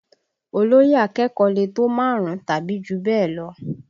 Olóyè akẹ́kọ̀ọ́ lè tó márùn-ún tàbí jù bẹ́ẹ̀ lọ